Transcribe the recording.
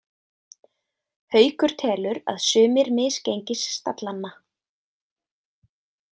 Haukur telur að sumir misgengisstallanna.